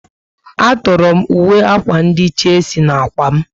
A tọrọ m uwe akwa ndị Chelsea na ákwà m